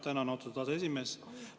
Tänan, austatud aseesimees!